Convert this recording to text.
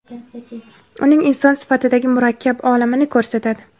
uning inson sifatidagi murakkab olamini ko‘rsatadi.